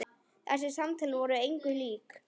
Þessi samtöl voru engu lík.